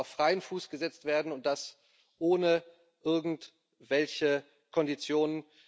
Sie müssen auf freien Fuß gesetzt werden, und das ohne irgendwelche Konditionen.